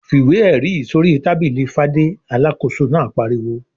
"Fi ìwé-ẹ̀rí yìí sórí tábìlì Fadé!" Alákòóso náà pariwo.